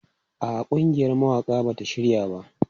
A'a, ƙungiyar mawaƙa ba ta shirya ba.